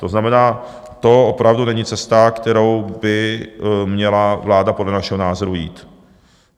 To znamená, to opravdu není cesta, kterou by měla vláda podle našeho názoru jít.